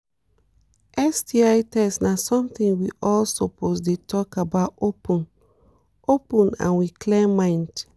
sti test na something we all suppose dey really talk about open- open and with clear mind